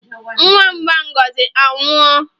Nwamba Ngozi anwụọ?